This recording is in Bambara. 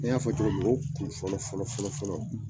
Ne y'a fɔ cogo min o kun fɔlɔ fɔlɔ .